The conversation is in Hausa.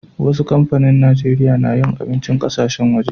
Wassu kampanin Nijeriya na yin abincin ƙasashen waje.